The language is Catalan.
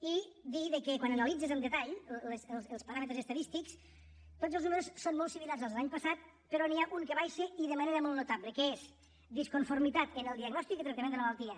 i dir que quan analitzes amb detall els paràmetres estadístics tots els números són molt similars als de l’any passat però n’hi ha un que baixa i de manera molt notable que és disconformitat en el diagnòstic i tractament de la malaltia